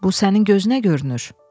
Bu sənin gözünə görünür?